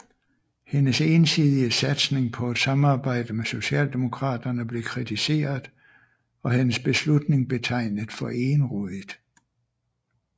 Hendes ensidige satsning på et samarbejde med Socialdemokraterne blev kritiseret og hendes beslutning betegnet for egenrådigt